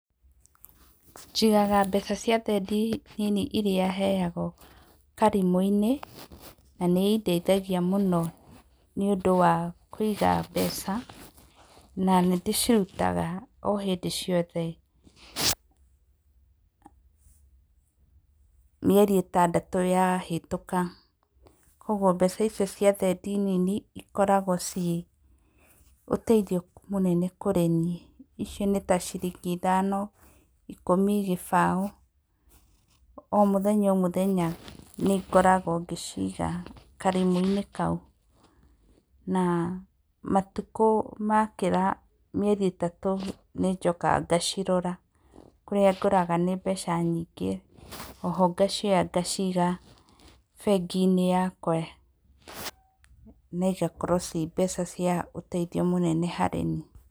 Njigaga mbeca cia thendi nini iria heyagwo karimũ-inĩ, na nĩ indeithagia mũno nĩũndũ wa kũiga mbeca, na nĩ ndĩcirutaga o hĩndĩ ciothe mĩeri itandatũ yahetũka. Koguo mbeca icio cia thendi nini ikoragwo ciũteithio mũnene kũrĩniĩ, ici nĩ ciringi ithano, ikũmi, gĩbaũ. O mũthenya o mũthenya nĩngoragwo ngĩciga karimũ-inĩ kau. Na matukũ makĩra mĩeri ĩtatũ nĩnjokaga ngacirora, kũrĩa ngoraga nĩ mbeca nyingĩ. Oho ngacioya ngaciga bengi-inĩ yakwa, na igakorwo ciĩ mbeca cia ũteithio mũnene nĩ harĩniĩ.